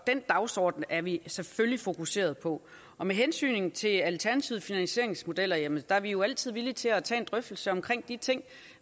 den dagsorden er vi selvfølgelig fokuseret på og med hensyn til alternative finansieringsmodeller jamen der er vi jo altid villige til at tage en drøftelse omkring de ting